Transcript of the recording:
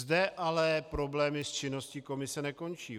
Zde ale problémy s činností komise nekončí.